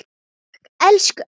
Takk, elsku afi.